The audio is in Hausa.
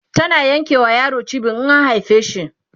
tana Yanke ma yaro cibi in an haife shi